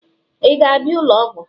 ị ga-abịa ụlọ ọgwụ?